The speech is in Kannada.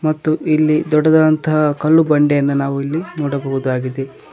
ಮತ್ತು ಇಲ್ಲಿ ದೊಡ್ಡದಾದಂತ ಕಲ್ಲು ಬಂಡೆಯನ್ನ ನಾವು ಇಲ್ಲಿ ನೋಡಬಹುದಾಗಿದೆ.